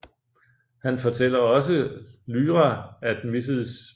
Han fortæller også Lyra at Mrs